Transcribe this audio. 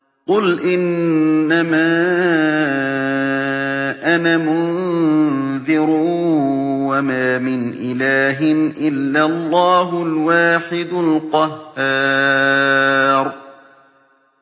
قُلْ إِنَّمَا أَنَا مُنذِرٌ ۖ وَمَا مِنْ إِلَٰهٍ إِلَّا اللَّهُ الْوَاحِدُ الْقَهَّارُ